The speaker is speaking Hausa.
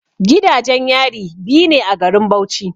Gidajen yari biyu ne a garin Bauchi.